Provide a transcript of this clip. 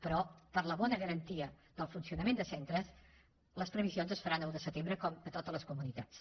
però per a la bona garantia del funcionament de centres les previsions es faran a un de setembre com a totes les comunitats